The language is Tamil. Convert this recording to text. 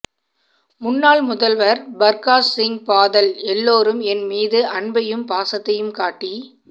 முன்னாள் முதல்வர் பர்காஷ்சிங் பாதல் எல்லோரும் என் மீது அன்பையும் பாசத்தையும் காட்டி